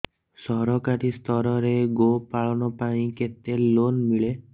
ସରକାରୀ ସ୍ତରରେ ଗୋ ପାଳନ ପାଇଁ କେତେ ଲୋନ୍ ମିଳେ